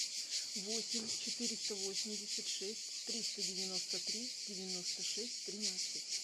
восемь четыреста восемьдесят шесть триста девяносто три девяносто шесть тринадцать